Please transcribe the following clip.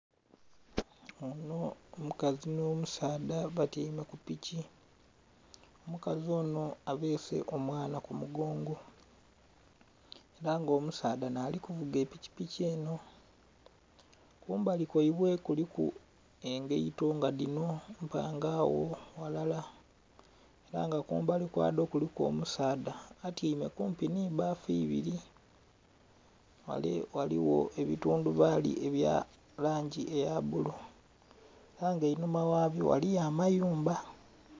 Onho mukazi nh'omusaadha batyaime ku piki. Omukazi onho abeese omwana ku mugongo ela nga omusaadha naali kuvuga epikipiki enho . Kumbali kwaibwe kuliku engaito nga dhino mpange agho ghalala ela nga kumbali kwadho kuliku omusaadha atyaime kumpi nhi bbafu ibili. Ghale ghaligho ebitundhubaali ebya langi eya bbulu ela nga einhuma ghabyo ghaliyo amayumba.